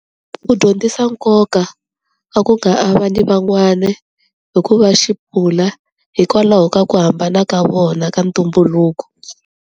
Ku dyondzisa nkoka wa ku nga avani van'wana, hikuva hikwalaho ka ku hambana ka vona ka ntumbuluko.